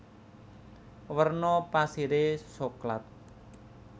Werna pasiré soklat